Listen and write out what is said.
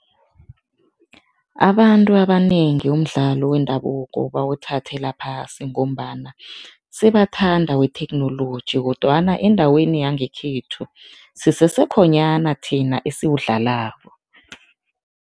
Abantu abanengi umdlalo wendabuko bawuthathela phasi ngombana sebathanda wetheknoloji kodwana endaweni yangekhethu, sisesekhonyana thina esiwudlalako.